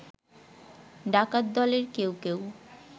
ডাকাত দলের কেউ কেউ